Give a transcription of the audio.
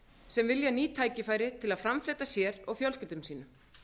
sem vilja ný tækifæri til að framfleyta sér og fjölskyldum sínum